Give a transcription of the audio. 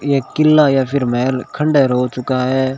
ये किला या फिर महल खंडहर हो चुका है।